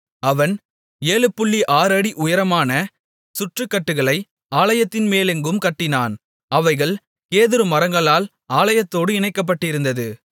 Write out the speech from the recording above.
அவன் 76 அடி உயரமான சுற்றுக்கட்டுகளை ஆலயத்தின்மேலெங்கும் கட்டினான் அவைகள் கேதுரு மரங்களால் ஆலயத்தோடு இணைக்கப்பட்டிருந்தது